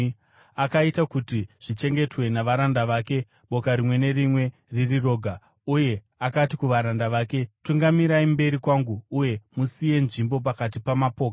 Akaita kuti zvichengetwe navaranda vake, boka rimwe nerimwe riri roga, uye akati kuvaranda vake, “Tungamirai mberi kwangu, uye musiye nzvimbo pakati pamapoka.”